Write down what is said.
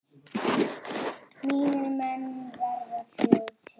Mínir menn verða fljót